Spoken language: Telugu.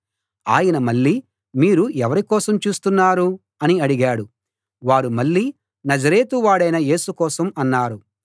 ఆయన మళ్ళీ మీరు ఎవరి కోసం చూస్తున్నారు అని అడిగాడు వారు మళ్ళీ నజరేతు వాడైన యేసు కోసం అన్నారు